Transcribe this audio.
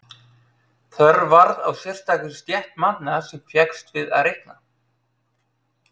Þörf varð á sérstakri stétt manna sem fékkst við að reikna.